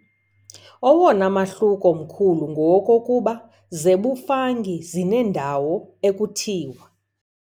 Owona mahluko mkhulu ngowokokuba ] zebuFungi zineendonga ekuthiwa ].